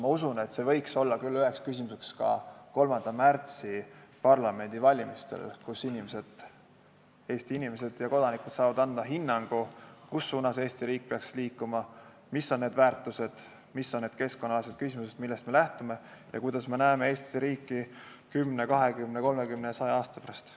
Ma usun, et see võiks olla üheks küsimuseks ka 3. märtsi parlamendivalimistel, kui Eesti inimesed ja kodanikud saavad anda hinnangu, kus suunas Eesti riik peaks liikuma, mis on need väärtused, mis on need keskkonnaküsimused, millest me lähtume, ja kuidas me näeme Eesti riiki 10, 20, 30 ja 100 aasta pärast.